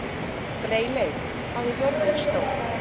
Freyleif, hvað er jörðin stór?